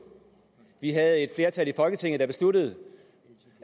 vi havde et flertal i folketinget der besluttede